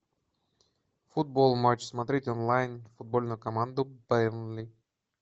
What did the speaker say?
футбол матч смотреть онлайн футбольную команду бернли